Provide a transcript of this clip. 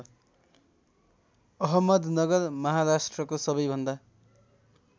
अहमदनगर महाराष्ट्रको सबैभन्दा